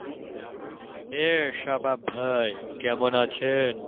এ শাবাব ভাই কেমন আছেন?